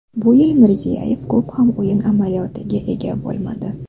Bu yil Mirzayev ko‘p ham o‘yin amaliyotiga ega bo‘lmadi.